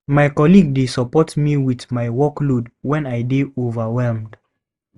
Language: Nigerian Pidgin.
My colleague dey support me with my workload when I dey overwhelmed.